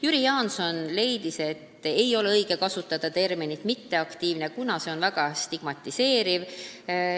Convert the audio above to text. Jüri Jaanson leidis, et ei ole õige kasutada terminit "mitteaktiivne", kuna see on väga stigmatiseeriv.